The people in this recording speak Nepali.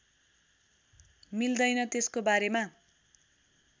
मिल्दैन त्यसको बारेमा